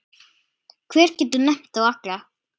Hver getur nefnt þá alla?